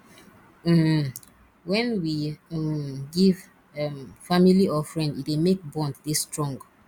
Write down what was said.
um when we um give um family or friend e dey make bond dey strong